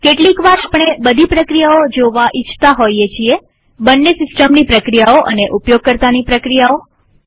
કેટલીકવાર આપણે બધી પ્રક્રિયાઓ જોવા ઈચ્છતા હોઈએ છીએ બંને સિસ્ટમની પ્રક્રિયાઓ અને ઉપયોગકર્તાની પ્રક્રિયાઓ